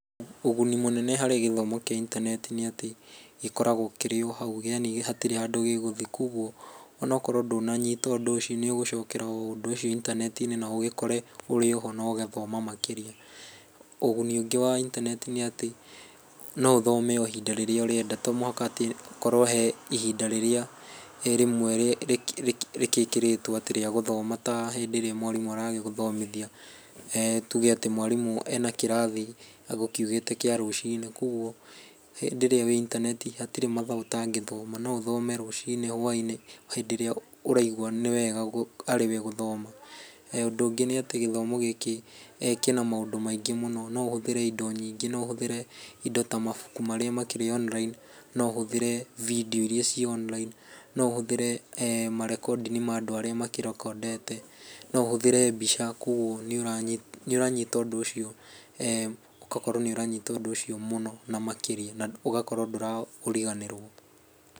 Ũguni mũnene harĩ gĩthomo kĩa intaneti nĩ atĩ gĩkoragwo kĩrĩ o hau, yaani gũtiri handũ gĩgũthiĩ, koguo onakorwo ndũnanyita ũndũ úcio nĩ ũgũcokera ũndũ ũcio intaneti-inĩ na ũgĩkore ũrĩoho na ũgathoma makĩria. Ũguni ũngĩ wa intaneti nĩ atĩ no ũthome o ihinda rĩrĩa ũrenda, tomũhaka atĩ hakorwo he ihinda rĩrĩa rĩmwe rĩkĩkĩrĩtwo atĩ rĩa gũthoma ta hĩndĩ ĩrĩa mwarimũ aragĩgũthomithia. Tuge atĩ ,mwarimũ ena kĩrathi agũkiugĩte kĩa rũcinĩ, koguo rĩrĩa wĩ intaneti hatirĩ mathaa ũtangĩthoma, no ũthome rũcinĩ, hwaĩ-inĩ, hĩndĩ ĩrĩ ũraigua nĩwega arĩwe gũthoma. Ũndũ ũngĩ nĩ atĩ gĩthomo gĩkĩ kĩna maũndũ maingĩ mũno, no ũhũthĩre indo nyingĩ, no ũhũthĩre indo ta mabuku marĩa makĩrĩ online, no ũhũthĩre [c] video iria irĩ ci online, no ũhũthĩre ma recording ma andũ arĩa makĩ record ete, no ũhũthĩre mbica koguo nĩ ũranyita, nĩ ũranyita ũndũ úcio, ũgakorwo nĩ ũranyita ũndũ ũcio mũno na makĩria, na ũgakora ndũra ũriganĩrwo.